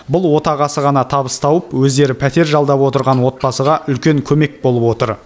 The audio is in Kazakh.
бұл отағасы ғана табыс тауып өздері пәтер жалдап отырған отбасыға үлкен көмек болып отыр